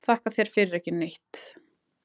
Þakka þér fyrir ekki neitt